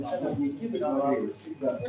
A Nikitə?